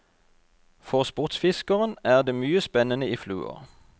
For sportsfiskeren er det mye spennende i fluer.